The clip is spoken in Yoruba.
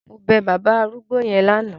Mo bẹ bàbá arúgbó yẹn lánàá.